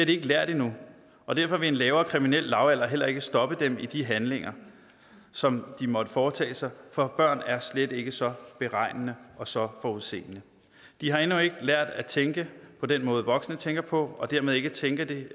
de ikke lært endnu og derfor vil en lavere kriminel lavalder heller ikke stoppe dem i de handlinger som de måtte foretage sig for børn er slet ikke så beregnende og så forudseende de har endnu ikke lært at tænke på den måde voksne tænker på og dermed tænker de